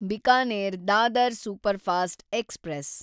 Bikaner Dadar superfast express